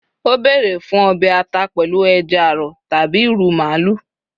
o bere fún obe ata pèlú eja arọ tabi iru maalu